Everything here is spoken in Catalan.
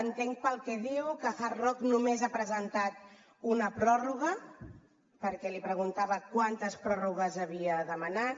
entenc pel que diu que hard rock només ha presentat una pròrroga perquè li preguntava quantes pròrrogues havia demanat